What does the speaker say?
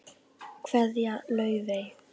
Kveðja, Laufey.